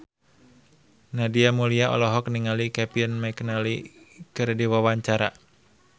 Nadia Mulya olohok ningali Kevin McNally keur diwawancara